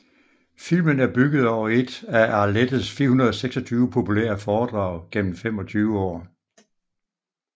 Filmen er bygget over et af Arlettes 426 populære foredrag gennem 25 år